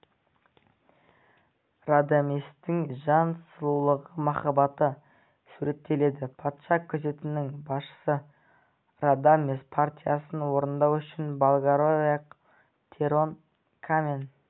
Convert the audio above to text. радаместің жан сұлулығы махаббаты суреттеледі патша күзетінің басшысы радамес партиясын орындау үшін болгариялық тенор камен